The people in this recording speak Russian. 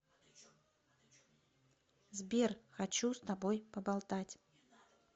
сбер хочу с тобой поболтать